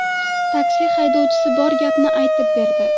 Taksi haydovchisi bor gapni aytib berdi.